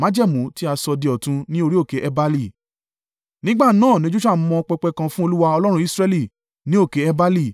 Nígbà náà ni Joṣua mọ pẹpẹ kan fún Olúwa Ọlọ́run Israẹli, ní òkè Ebali,